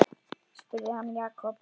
spurði hann Jakob.